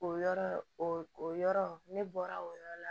O yɔrɔ o yɔrɔ ne bɔra o yɔrɔ la